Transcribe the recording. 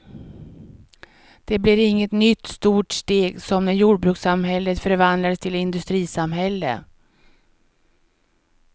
Det blir inget nytt stort steg som när jordbrukssamhället förvandlades till industrisamhälle.